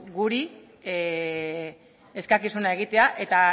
guri eskakizuna egitea eta